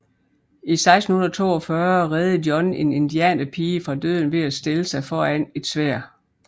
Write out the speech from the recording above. I 1642 reddede John en indianerpige fra døden ved at stille sig foran et sværd